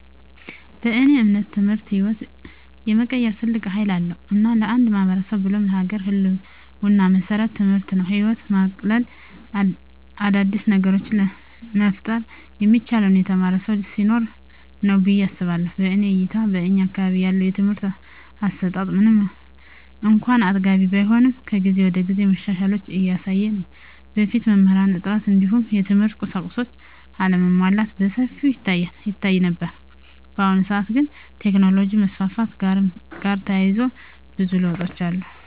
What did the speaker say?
በእኔ እምነት ትምህርት ህይወትን የመቀየር ትልቅ ሀይል አለዉ። እና ለአንድ ማህበረሰብ ብሎም ለሀገር ህልወና መሰረቱ ትምህርት ነው። ህይወትን ማቅለል : አዳዲስ ነገሮችን መፍጠር የሚቻለው የተማረ ሰው ሲኖር ነው ብየ አስባለሁ። በእኔ እይታ በእኛ አካባቢ ያለው የትምህርት አሰጣት ምንም እንኳን አጥጋቢ ባይሆንም ከጊዜ ወደጊዜ መሻሻሎችን እያሳየ ነው። በፊት የመምህራን እጥረት እንዲሁም የትምህርት ቁሳቁሶች አለመሟላት በሰፊው ይታይ ነበር። በአሁኑ ሰአት ግን ከቴክኖሎጅ መስፋፋት ጋርም ተያይዞ ብዙ ለውጦች አሉ።